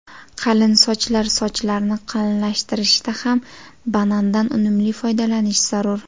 Qalin sochlar Sochlarni qalinlashtirishda ham banandan unumli foydalanish zarur.